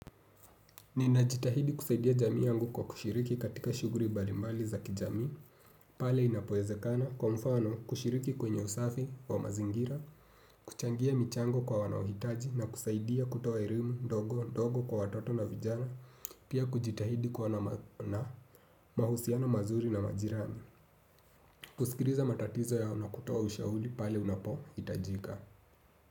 Ninajitahidi kusaidia jamii yangu kwa kushiriki katika shughuli mbalimbali za kijamii, pale inapoezekana, kwa mfano kushiriki kwenye usafi wa mazingira, kuchangia michango kwa wanaohitaji na kusaidia kutoa elimu, ndogo, ndogo kwa watoto na vijana, pia kujitahidi kwa na mahusiano mazuri na majirani. Kusikiliza matatizo yao na kutoa ushauri pale unapohitajika.